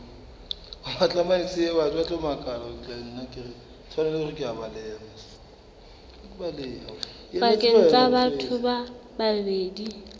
pakeng tsa batho ba babedi